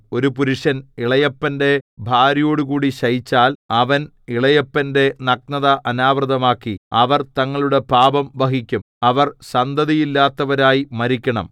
ഒരു പുരുഷൻ ഇളയപ്പന്റെ ഭാര്യയോടുകൂടി ശയിച്ചാൽ അവൻ ഇളയപ്പന്റെ നഗ്നത അനാവൃതമാക്കി അവർ തങ്ങളുടെ പാപം വഹിക്കും അവർ സന്തതിയില്ലാത്തവരായി മരിക്കണം